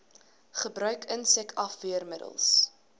gebruik insek afweermiddels